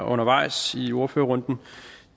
undervejs i ordførerrunden